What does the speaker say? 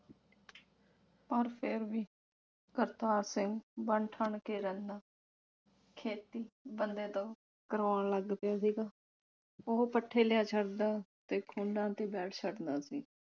ਪਰ ਫੇਰ ਵੀ ਕਰਤਾਰ ਸਿੰਘ ਬਣ ਠਣ ਕੇ ਰਹਿੰਦਾ। ਖੇਤੀ ਬੰਦੇ ਤੋਂ ਕਰਵਾਉਣ ਲੱਗ ਪਿਆ ਸੀਗਾ। ਉਹ ਪੱਠੇ ਲਿਆ ਛੱਡਦਾ ਤੇ ਤੇ ਬੈਠ ਛੱਡਦਾ ਸੀ।